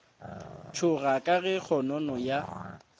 tšhoga ka ge kgonono ya